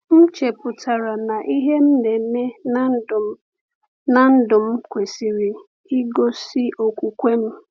M chepụtara na ihe m na-eme n’ndụ m n’ndụ m kwesịrị igosi okwukwe m.